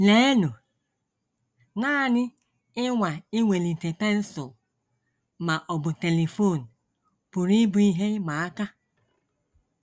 Leenụ, nanị ịnwa iwelite pensụl ma ọ bụ telifon pụrụ ịbụ ihe ịma aka!